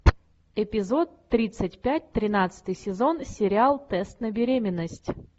эпизод тридцать пять тринадцатый сезон сериал тест на беременность